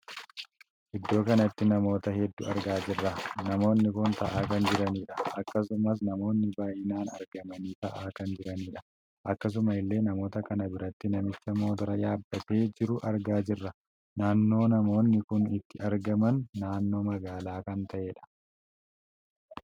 Iddoo kanatti namoota hedduu argaa jirra. namoonni kun taa'aa kan jiranidha. akkasuma namoonni baay'inaan argamanii taa'aa kan jiranidha. akkasuma illee namoota kan biratti namicha motoora yaabbatee jiruu argaa jirra. naannoo namoonni kun itti argama naannoo magaalaa kan tahedha.